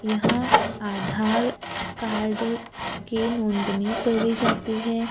यहां आधार कार्ड की नोंदनी करी जाती है।